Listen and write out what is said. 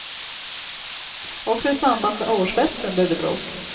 Också i samband med årsfesten blev det bråk.